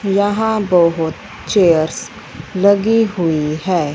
यहां बहोत चेयर्स लगी हुई है।